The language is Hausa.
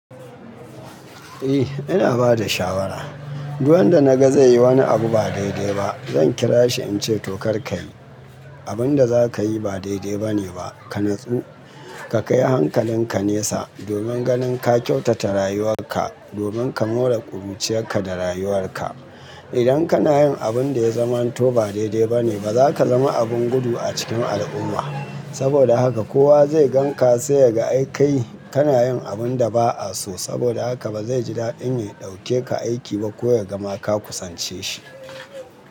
Eh, ina bada shawara. Duk wanda naga zai yi wani abu ba daidai ba, zan kira shi in ce to karka yi, abun da zakayi ba daidai ba ne ba, ka natsu. Ka kai hankalinka nesa domin ganin ka kyautata rayuwar ka domin ka more ƙuruciyar ka da rayuwar ka. Idan kana yin abun da ya zamanto ba daidai ba ne ba, za ka zama abun gudu a cikin al'umma. Ka kai hankalinka nesa domin ganin ka kyautata rayuwar ka domin ka more ƙuruciyar ka da rayuwar ka.